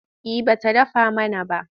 Eh ba ta faɗa mana ba.